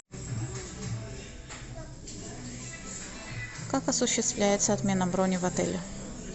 как осуществляется отмена брони в отеле